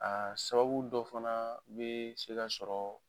A sababu dɔ fana be sega sɔrɔ